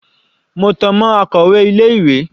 Mo tan mọ́ akọ̀wẹ́ ilé ìwé.